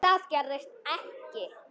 Það gerðist ekki.